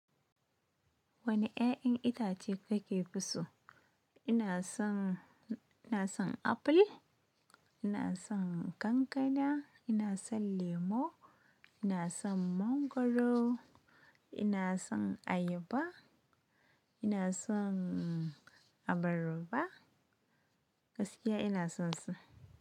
Woni ƴaƴan itace kake so? Ina son, ina son apple, ina son ƙanƙana, ina son lemo, ina son mangwaro, ina son ayaba, ina son abarba, gaskiya ina son su.